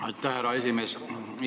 Aitäh, härra esimees!